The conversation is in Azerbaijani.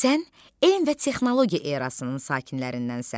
Sən elm və texnologiya erasının sakinlərindənsən.